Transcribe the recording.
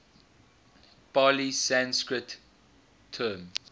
pali sanskrit term